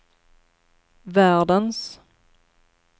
världens